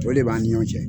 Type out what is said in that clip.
O de b'an ni ɲɔgɔn cɛ